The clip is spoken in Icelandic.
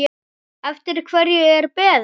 Eftir hverju er beðið?